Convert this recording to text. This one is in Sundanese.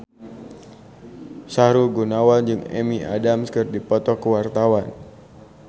Sahrul Gunawan jeung Amy Adams keur dipoto ku wartawan